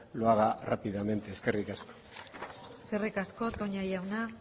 lo haga rápidamente eskerrik asko eskerrik asko toña jauna